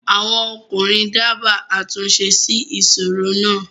àwọn ọkùnrin dábàá àtúnṣe sí ìsoro náà.